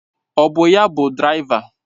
Ọ bụ ya bụ dịraiva.